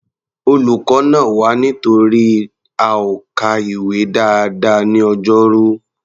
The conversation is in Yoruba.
Olùkọ́ nà wá nítorí a ò ka ìwé dáadáa ní Ọjọ́rú.